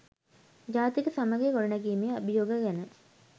ජාතික සමගිය ගොඩනැගීමේ අභියෝග ගැන